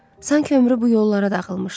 Sanki ömrü bu yollara dağılmışdı.